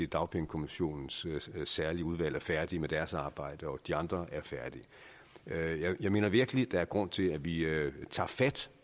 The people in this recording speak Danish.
dagpengekommissionens særlige udvalg er færdig med deres arbejde og at de andre er færdige jeg mener virkelig der er grund til at vi tager fat